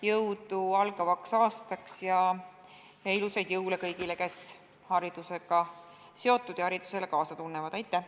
Jõudu algavaks aastaks ja ilusaid jõule kõigile, kes haridusega seotud ja haridusele kaasa elavad!